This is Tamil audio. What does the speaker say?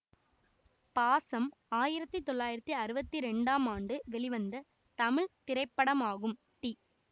பாசம் ஆயிரத்தி தொள்ளாயிரத்தி அறுபத்தி ரெண்டாம் ஆண்டு வெளிவந்த தமிழ் திரைப்படமாகும் டி